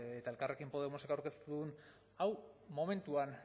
eta elkarrekin podemosek aurkeztu duen hau momentuan